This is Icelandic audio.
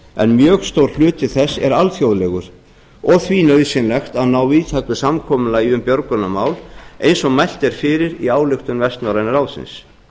en mjög stór hluti þess er alþjóðlegur og því nauðsynlegt að ná víðtæku samkomulagi um björgunarmál eins og mælt er fyrir í ályktun vestnorræna ráðsins